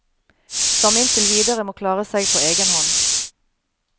Som inntil videre må klare seg på egen hånd.